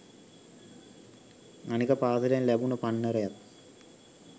අනික පාසලෙන් ලැබුණ පන්නරයත්